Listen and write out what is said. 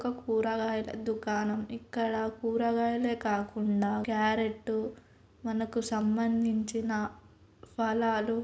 ఒక కూరగాయల దుకాణం ఇక్కడ కూరగాయాలే కాకుండా క్యారెట్టు మనకు సంబందించిన ఫలాలు--